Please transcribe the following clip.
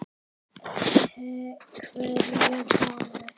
Hverja holu.